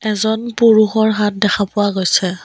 এজন পুৰুষৰ হাত দেখা পোৱা গৈছে।